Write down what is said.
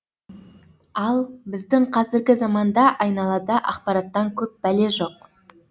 ал біздің қазіргі заманда айналада ақпараттан көп бәле жоқ